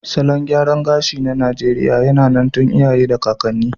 Salon gyaran gashi na Najeriya yAna nan tun iya ye da kakani